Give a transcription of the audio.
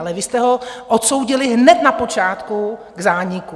Ale vy jste ho odsoudili hned na počátku k zániku.